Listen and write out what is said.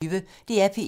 DR P1